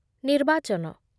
ନିର୍ବାଚନ